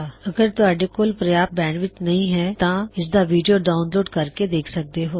ਅਗਰ ਤੁਹਾਡੇ ਕੋਲ ਪ੍ਰਯਾਪਤ ਬੈਂਡਵਿੱਥ ਨਹੀ ਹੈ ਤਾਂ ਤੁਸੀਂ ਇਸਦਾ ਵੀਡਿਓ ਡਾਉਨਲੋਡ ਕਰ ਕੇ ਦੇਖ ਸਕਦੇ ਹੋ